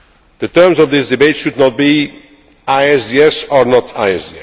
public health. The terms of this debate should not be ISDS